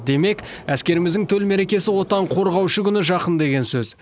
демек әскеріміздің төл мерекесі отан қорғаушы күні жақын деген сөз